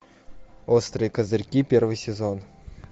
острые козырьки первый сезон